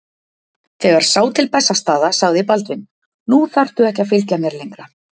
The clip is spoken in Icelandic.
Þegar sá til Bessastaða sagði Baldvin:-Nú þarftu ekki að fylgja mér lengra.